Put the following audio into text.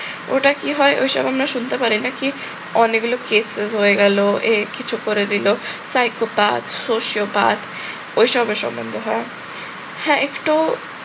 ওটা কি হয় ওই সব আমরা শুনতে পারি না কি? অনেকগুলো case ফেস হয়ে গেল, এ কিছু করে দিল, psychopath sociopath ওই সবের সম্বন্ধে হয়। হ্যাঁ একটু